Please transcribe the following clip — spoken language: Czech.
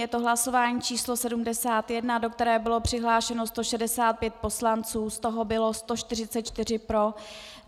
Je to hlasování číslo 71, do kterého bylo přihlášeno 165 poslanců, z toho bylo 144 pro.